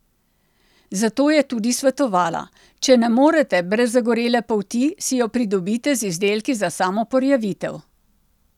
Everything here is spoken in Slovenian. Zato je tudi svetovala: 'Če ne morete brez zagorele polti, si jo pridobite z izdelki za samoporjavitev.